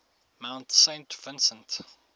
mount saint vincent